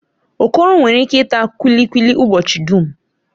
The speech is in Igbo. Okoro nwere ike ita kulikuli ụbọchị dum.